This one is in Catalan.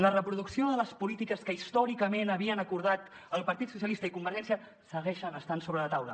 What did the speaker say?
la reproducció de les polítiques que històricament havien acordat el partit socialistes i convergència segueixen estant sobre la taula